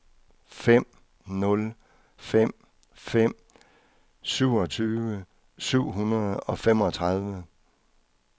fem nul fem fem syvogtyve syv hundrede og femogtredive